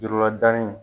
Jurula danni